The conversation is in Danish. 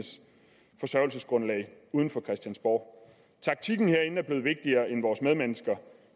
uden for christiansborg taktikken herinde er blevet vigtigere end vores medmennesker